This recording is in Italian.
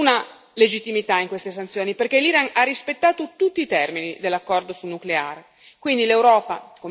È evidente che non c'è nessuna legittimità in queste sanzioni, perché l'Iran ha rispettato tutti i termini dell'accordo sul nucleare.